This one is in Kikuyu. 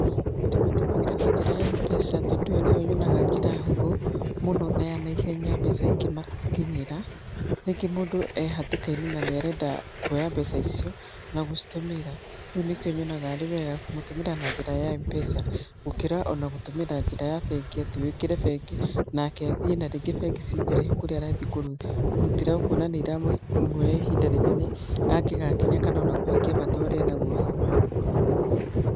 Ndĩmatũmagĩra na njĩra ya M-pesa tondũ ĩyo nĩyo yonaga njĩra hũthũ na ya naihenya mbeca ikĩmakinyĩra. Rĩngĩ mũndũ e hatĩkainĩ na nĩarenda kuoya mbeca icio na gũcitũmĩra. Koguo nĩkĩo nyonaga arĩ wega kũmũtũmĩra na njĩra ya M-pesa gũkĩra ona gũtũmĩra njira ya bengi atĩ wĩkĩre bengi, nake athie na ringĩ bengi cirĩ kũraihu kũrĩa arathiĩ kũrutĩra ũkona nĩiramuoya ihinda inene angĩgakinya kana ona kũhingia bata ũrĩa arĩ naguo hau hau.